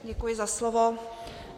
Děkuji za slovo.